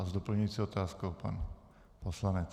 A s doplňující otázkou pan poslanec.